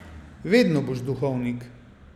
Vedno boš duhovnik.